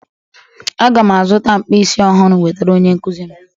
Aga'm-azụta mkpisi ọhụrụ wetara onye nkụzi m